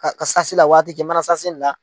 Ka la ka waati mana la.